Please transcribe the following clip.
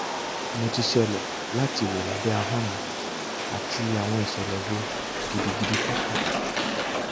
mo ti ṣẹlẹ lati wo labẹ ahọn mi ati awọn isẹlẹ wo gidigidi purple